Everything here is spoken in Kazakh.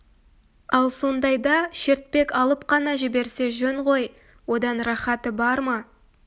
ал сондайда шертпек алып қана жіберсе жөн ғой одан рахаты бар ма